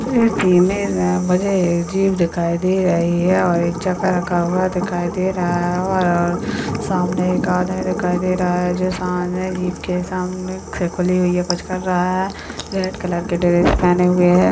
Image मे मुझे एक जीप दिखाई दे रही है और एक चक्का रखा हुआ दिखाई दे रहा और सामने एक आदमी दिखाई दे रहा है जो सामने जीप के सामने से खुली हुई है कुछ कर रहा है रेड कलर के ड्रेस पहने हुए है।